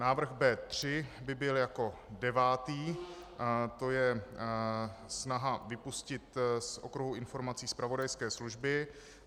Návrh B3 by byl jako devátý, je to snaha vypustit z okruhu informací zpravodajské služby.